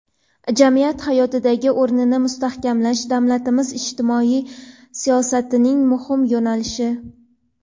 jamiyat hayotidagi o‘rnini mustahkamlash davlatimiz ijtimoiy siyosatining muhim yo‘nalishi.